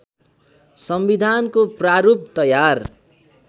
संविधानको प्रारूप तयार